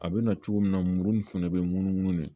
A bɛna cogo min na mururu in fɛnɛ be munumunu de